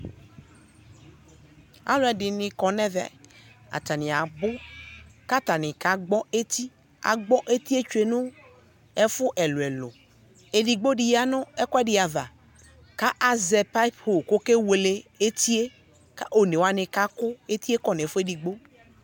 Alʋɛdɩnɩ kɔ n'ɛvɛ, atanɩ abʋ K'atanɩ kagbɔ eti, agbɔ etie tsue nʋ ɛfʋ ɛlʋɛlʋ; edigbodɩ ya nʋ ekʋɛdɩ ava, ka azɛ payɩpʋ k'okewele etie Kʋ onewanɩ kakʋ etie kɔ n'ɛfʋedigbo